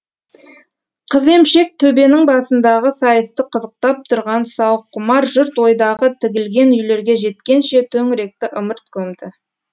қыземшек төбенің басындағы сайысты қызықтап тұрған сауыққұмар жұрт ойдағы тігілген үйлерге жеткенше төңіректі ымырт көмді